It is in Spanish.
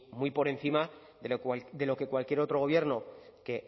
muy por encima de lo que cualquier otro gobierno que